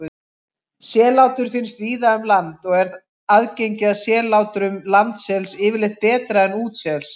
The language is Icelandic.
Sellátur finnast víða um land og er aðgengi að sellátrum landsels yfirleitt betra en útsels.